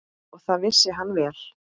Og það vissi hann vel.